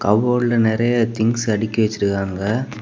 கபோர்ட்ல நறைய திங்ஸ் அடுக்கி வச்சிருக்காங்க.